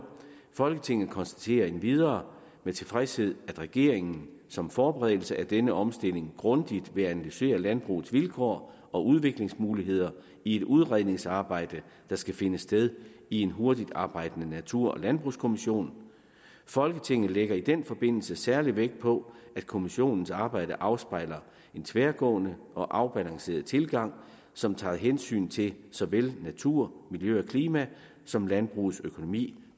folketinget konstaterer endvidere med tilfredshed at regeringen som forberedelse af denne omstilling grundigt vil analysere landbrugets vilkår og udviklingsmuligheder i et udredningsarbejde der skal finde sted i en hurtigarbejdende natur og landbrugskommission folketinget lægger i den forbindelse særlig vægt på at kommissionens arbejde afspejler en tværgående og afbalanceret tilgang som tager hensyn til såvel natur miljø og klima som landbrugets økonomi